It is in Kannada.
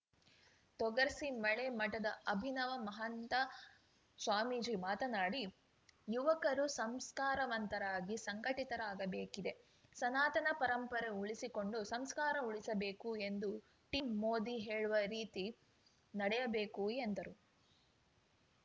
ತೊಗರ್ಸಿ ಮಳೆ ಮಠದ ಅಭಿನವ ಮಹಂತಸ್ವಾಮೀಜಿ ಮಾತನಾಡಿ ಯುವಕರು ಸಂಸ್ಕಾರವಂತರಾಗಿ ಸಂಘಟಿತರಾಗಬೇಕಿದೆ ಸನಾತನ ಪರಂಪರೆ ಉಳಿಸಿಕೊಂಡು ಸಂಸ್ಕಾರ ಉಳಿಸಬೇಕು ಎಂದು ಟೀಂ ಮೋದಿ ಹೇಳುವ ರೀತಿ ನಡೆಯಬೇಕು ಎಂದರು